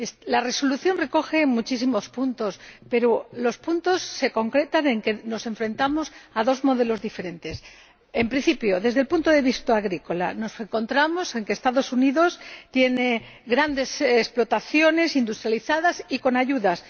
La resolución recoge muchísimos puntos, pero los puntos señalan concretamente que nos enfrentamos a dos modelos diferentes en principio, desde el punto de vista agrícola, constatamos que los Estados Unidos tiene grandes explotaciones, industrializadas y con ayudas.